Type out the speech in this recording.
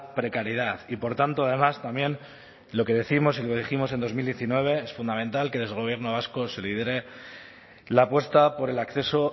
precariedad y por tanto además también lo que décimos y lo dijimos en dos mil diecinueve es fundamental que desde el gobierno vasco se lidere la apuesta por el acceso